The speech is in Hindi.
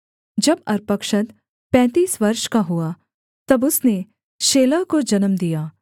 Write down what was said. जब अर्पक्षद पैंतीस वर्ष का हुआ तब उसने शेलह को जन्म दिया